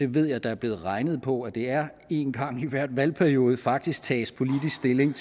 ved at der er blevet regnet på at det er en gang i hver valgperiode faktisk tages politisk stilling